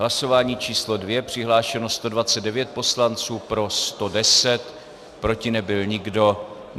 Hlasování číslo 2, přihlášeno 129 poslanců, pro 110, proti nebyl nikdo.